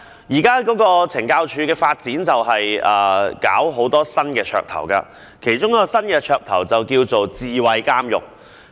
現時懲教署的發展有很多新噱頭，其中一項叫智慧監獄。